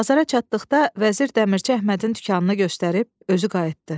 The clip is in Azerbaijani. Bazara çatdıqda vəzir dəmirçi Əhmədin dükanını göstərib özü qayıtdı.